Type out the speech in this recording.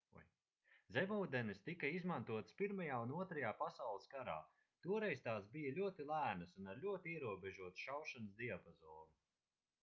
zemūdenes tika izmantotas pirmajā un otrajā pasaules karā toreiz tās bija ļoti lēnas un ar ļoti ierobežotu šaušanas diapazonu